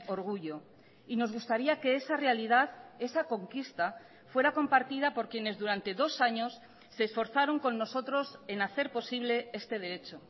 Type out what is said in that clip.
orgullo y nos gustaría que esa realidad esa conquista fuera compartida por quienes durante dos años se esforzaron con nosotros en hacer posible este derecho